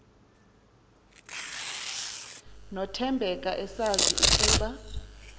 nothembeka esazi ukuba